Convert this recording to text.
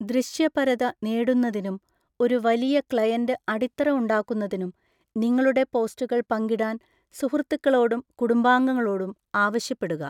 ദൃശ്യപരത നേടുന്നതിനും ഒരു വലിയ ക്ലയന്റ് അടിത്തറ ഉണ്ടാക്കുന്നതിനും നിങ്ങളുടെ പോസ്റ്റുകൾ പങ്കിടാൻ സുഹൃത്തുക്കളോടും കുടുംബാംഗങ്ങളോടും ആവശ്യപ്പെടുക.